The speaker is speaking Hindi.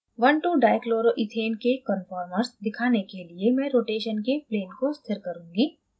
12dichloroethane के conformers दिखाने के लिए मैं rotation के plane को स्थिर करुँगी